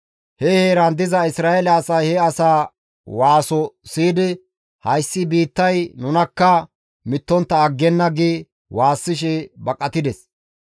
He heeran diza Isra7eele asay he asaa waaso siyidi, «Hayssi biittay nunakka mittontta aggenna!» gi waassishe baqatides.